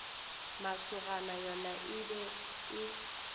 masogana yona e be e